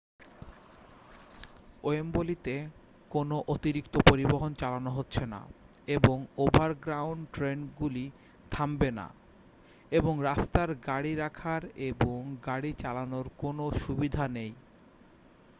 ওয়েম্বলিতে কোনও অতিরিক্ত পরিবহন চালানো হচ্ছে না এবং ওভারগ্রাউন্ড ট্রেনগুলি থামবে না এবং রাস্তায় গাড়ি রাখার এবং গাড়ি চালানোর কোনও সুবিধা নেই